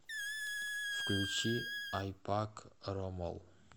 включи айпак ромол